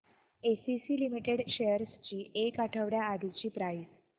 ACC limited shares ची एक आठवड्या आधीची प्राइस